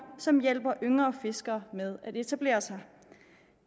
som hjælper yngre fiskere med at etablere sig